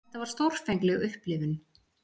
Þetta var stórfengleg upplifun.